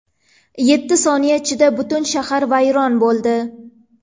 Yetti soniya ichida butun shahar vayron bo‘ldi.